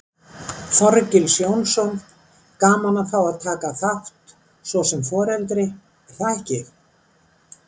Þorgils Jónsson: Gaman að fá að taka þátt svo sem foreldri, er það ekki?